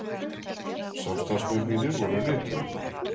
Samstarfsmenn mínir voru rithöfundarnir